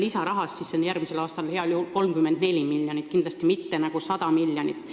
Lisaraha on järgmisel aastal heal juhul 34 miljonit, kindlasti mitte 100 miljonit.